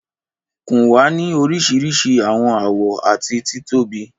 Kùn wa ni orisirisi awọn awọ ati titobi.